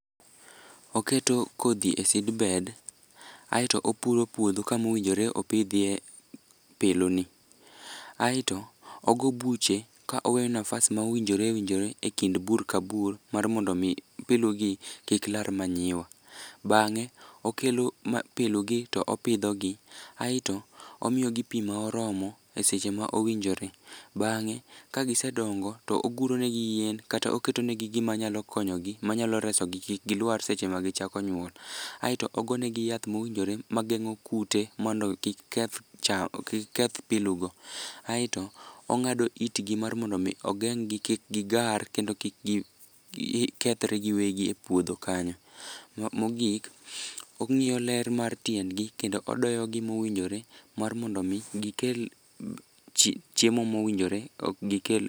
Oketo kodhi e seedbed aeto opuro puodho kamowinjore opidhye piluni aeto ogo buche ka oweyo nafas mowinjore owinjiore e kind bur ka bur mar mondo omi pilugi kik lar manyiwa. Bang'e okelo pilugi to opithogi aeto omiyogi pi ma oromo e seche ma owinjore, bang'e kagisedongo to oguronegi yien kata oketonegi gima nyalo konyogi manyalo resogi kik gilwar seche magichako nyuol aeto ogone gi yath mowinjore mageng'o kute mondo kik keth pilugo aeto ong'ado itgi mar mondo omi ogenggi kik gigar kendo kik gikethre giwegi e puodho kanyo. Mogik, ong'iyo ler mar tiendgi kendo odoyogi mowinjore mar mondo omi gikel chiemo mowinjore gikel.